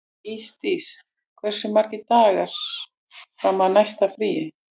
Ísdís, hversu margir dagar fram að næsta fríi?